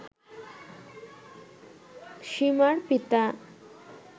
সীমার পিতা